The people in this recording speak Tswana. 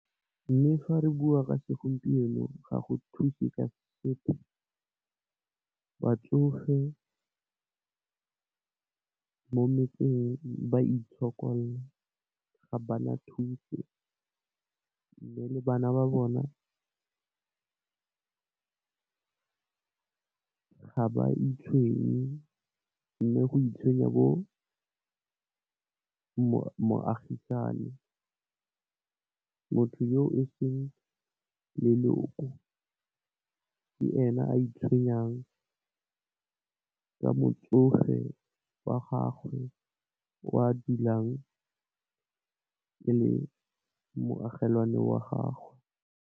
Mme fa re bua ka segompieno ga go thuse ka sepe, batsofe mo metseng ba itshokolla ga bana thuso. Mme, le bana ba bona ga ba itshwenye mme, go itshwenya bo moagisane, motho yo eseng leloko ke ena a itshwenyang ka motsofe wa gago o a dulang e le moagelwane wa gago.